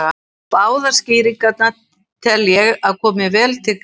Báðar skýringarnar tel ég að komi vel til greina.